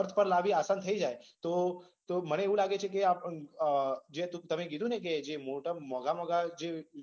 અર્થ પર લાવવી આસાન થઈ જાય તો, તો મને એવુ લાગે છે કે જે તમે કીધુ ને કે મોંધા મોંધા